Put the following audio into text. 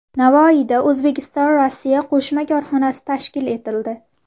Navoiyda O‘zbekistonRossiya qo‘shma korxonasi tashkil etildi.